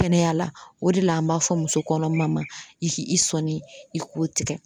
Kɛnɛya la o de la an m'a fɔ muso kɔnɔma ma i ki i sɔni i k'o tigɛ.